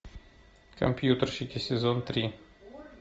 компьютерщики сезон три